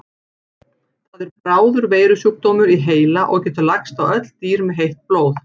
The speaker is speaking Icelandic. Það er bráður veirusjúkdómur í heila og getur lagst á öll dýr með heitt blóð.